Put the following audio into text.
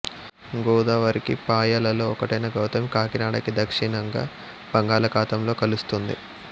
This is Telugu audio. గోదావరికి పాయలలో ఒకటైన గౌతమి కాకినాడకి దక్షిణంగా బంగళాఖాతంలో కలుస్తోంది